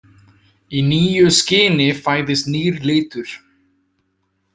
Í nýju skini fæðist nýr litur.